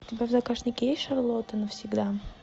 у тебя в загашнике есть шарлотта навсегда